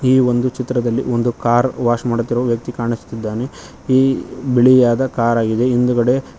ಈ ಒಂದು ಚಿತ್ರದಲ್ಲಿ ಒಂದು ಕಾರ್ ವಾಶ್ ಮಾಡುತ್ತಿರುವ ವ್ಯಕ್ತಿ ಕಾಣಿಸತಿದ್ದಾನೆ ಈ ಬಿಳಿಯಾದ ಕಾರ್ ಆಗಿದೆ ಹಿಂದ್ಗಡೆ--